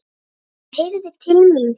Hann heyrði til mín.